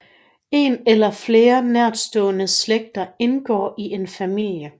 En eller flere nærstående slægter indgår i en familie